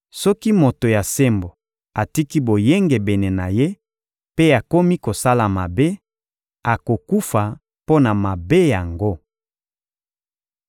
Soki moto ya sembo atiki boyengebene na ye mpe akomi kosala mabe, akokufa mpo na mabe yango.